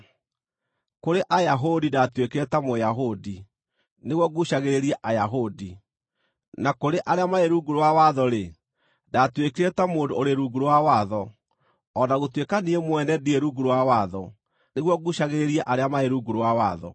Kũrĩ Ayahudi ndaatuĩkire ta Mũyahudi nĩguo nguucagĩrĩrie Ayahudi. Na kũrĩ arĩa marĩ rungu rwa watho-rĩ, ndaatuĩkire ta mũndũ ũrĩ rungu rwa watho, o na gũtuĩka niĩ mwene ndirĩ rungu rwa watho, nĩguo nguucagĩrĩrie arĩa marĩ rungu rwa watho.